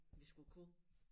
Vi skulle kunne